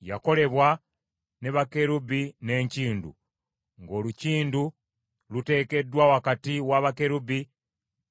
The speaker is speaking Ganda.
yakolebwa ne bakerubi n’enkindu, ng’olukindu luteekeddwa wakati wa bakerubi